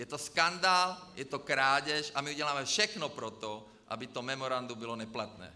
Je to skandál, je to krádež a my uděláme všechno pro to, aby to memorandum bylo neplatné.